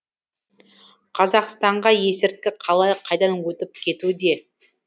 қазақстанға есірткі қалай қайдан өтіп кетуде